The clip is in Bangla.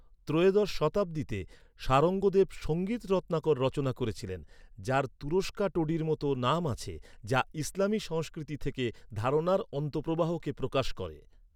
ত্রয়োদশ শতাব্দীতে শারঙ্গদেব ‘সঙ্গীত রত্নাকর’ রচনা করেছিলেন, যার তুরুস্কা টোডির মতো নাম আছে, যা ইসলামী সংস্কৃতি থেকে ধারণার অন্তঃপ্রবাহকে প্রকাশ করে।